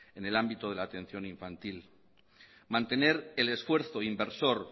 en el ámbito de la atención infantil mantener el esfuerzo inversor